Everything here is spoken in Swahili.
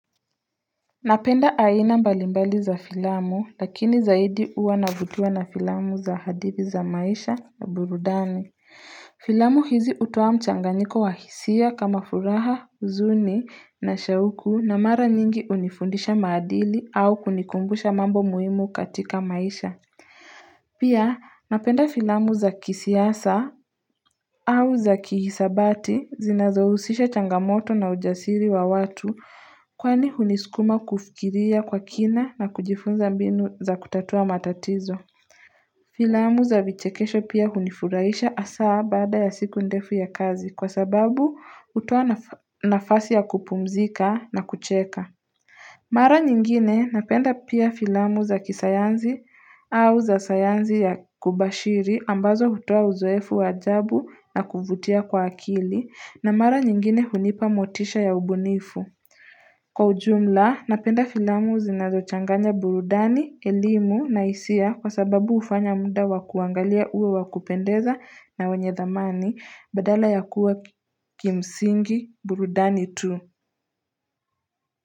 Napenda aina mbalimbali za filamu lakini zaidi uwa navutiwa na filamu za hadithi za maisha na burudani Filamu hizi utoa mchanganyiko wa hisia kama furaha uzuni na shauku na mara nyingi unifundisha maadili au kunikumbusha mambo muhimu katika maisha Pia napenda filamu za kisiasa au za kihisabati zinazohusisha changamoto na ujasiri wa watu kwani huniskuma kufikiria kwa kina na kujifunza mbinu za kutatua matatizo. Filamu za vichekesho pia hunifuraisha asaa baada ya siku ndefu ya kazi kwa sababu utoa nafasi ya kupumzika na kucheka. Mara nyingine napenda pia filamu za kisayanzi au za sayanzi ya kubashiri ambazo hutoa uzoefu wa ajabu na kuvutia kwa akili na mara nyingine hunipa motisha ya ubunifu. Kwa ujumla napenda filamu zinazochanganya burudani, elimu na hisia kwa sababu hufanya muda wa kuangalia uwe wa kupendeza na wenye thamani badala ya kuwa kimsingi burudani tu.